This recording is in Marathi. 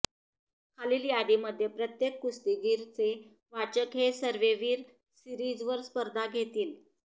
खालील यादीमध्ये प्रत्येक कुस्तीगीर चे वाचक हे सर्वेवीर सीरिजवर स्पर्धा घेतील